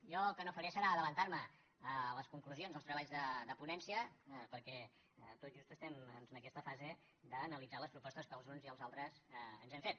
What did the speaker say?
jo el que no faré serà avançar me a les conclusions als treballs de ponència perquè tot just estem en aquesta fase d’analitzar les propostes que els uns i els altres ens hem fet